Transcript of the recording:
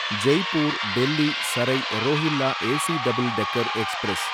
Jaipur Delhi Sarai Rohilla AC double decker express